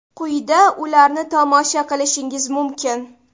Quyida ularni tomosha qilishingiz mumkin.